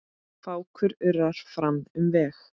Fákur urrar fram um veg.